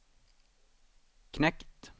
knekt